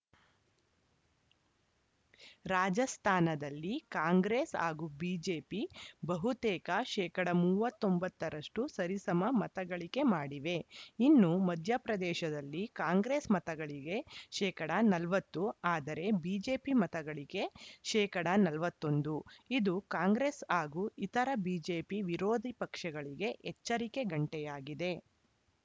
ರಾಜಸ್ಥಾನದಲ್ಲಿ ಕಾಂಗ್ರೆಸ್‌ ಹಾಗೂ ಬಿಜೆಪಿ ಬಹುತೇಕ ಶೇಕಡಾ ಮೂವತ್ತ್ ಒಂಬತ್ತ ರಷ್ಟುಸರಿಸಮ ಮತಗಳಿಕೆ ಮಾಡಿವೆ ಇನ್ನು ಮಧ್ಯಪ್ರದೇಶದಲ್ಲಿ ಕಾಂಗ್ರೆಸ್‌ ಮತಗಳಿಗೆ ಶೇಕಡಾ ನಲವತ್ತು ಆದರೆ ಬಿಜೆಪಿ ಮತಗಳಿಕೆ ಶೇಕಡಾ ನಲವತ್ತ್ ಒಂದು ಇದು ಕಾಂಗ್ರೆಸ್‌ ಹಾಗೂ ಇತರ ಬಿಜೆಪಿ ವಿರೋಧಿ ಪಕ್ಷಗಳಿಗೆ ಎಚ್ಚರಿಕೆ ಗಂಟೆಯಾಗಿದೆ